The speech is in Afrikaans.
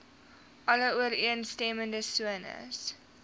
alle ooreenstemmende sones